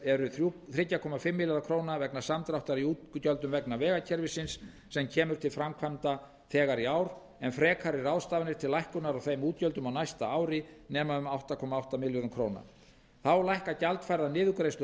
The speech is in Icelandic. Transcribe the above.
eru þrjú komma fimm milljarðar króna vegna samdráttar í útgjöldum vegna vegakerfisins sem kemur til framkvæmda þegar í ár en frekari ráðstafanir til lækkunar á þeim útgjöldum á næsta ári nema um átta komma átta milljörðum króna þá lækka gjaldfærðar niðurgreiðslur